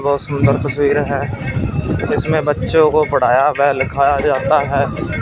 बहोत सुंदर तस्वीर है इसमें बच्चों को पढ़ाया व लिखाया जाता है।